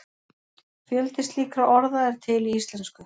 fjöldi slíkra orða er til í íslensku